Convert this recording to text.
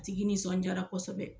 Tigi nisɔndiyara kosɛbɛ